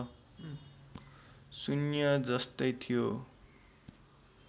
शून्य जस्तै थियो